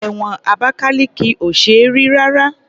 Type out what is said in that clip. Ẹ̀wọ̀n Abakaliki ò ṣe é rí rárá.